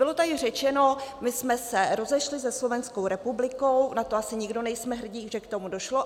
Bylo tady řečeno, my jsme se rozešli se Slovenskou republikou, na to asi nikdo nejsme hrdí, že k tomu došlo.